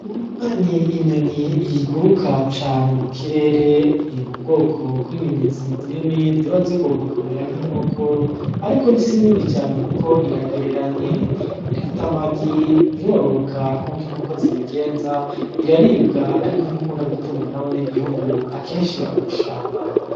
Inuma ni inyoni iguruka cane mu kirere, iri mu bwoko bw'inyoni zinini ziba zigomba kumera nk'inkoko ariko si nini cane kuko iragereranye. Irata amagi, irororoka nk'uko inkoko zibigenza, iraribwa ariko ntikunda gutungwa n'abanyagihugu, akenshi iba mw'ishamba.